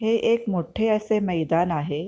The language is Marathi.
हे एक मोठे असे मैदान आहे.